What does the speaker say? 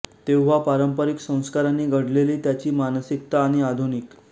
तेव्हा पारंपारिक संस्कारांनी घडलेली त्याची मानसिकता आणि आधुनिक